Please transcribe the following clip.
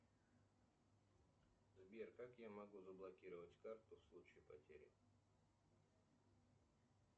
сбер как я могу заблокировать карту в случае потери